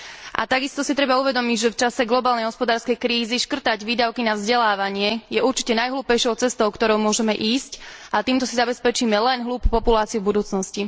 A takisto si treba uvedomiť, že v čase globálnej hospodárskej krízy škrtať výdavky na vzdelávanie je určite najhlúpejšou cestou, ktorou môžeme ísť, a týmto si zabezpečíme len hlúpu populáciu v budúcnosti.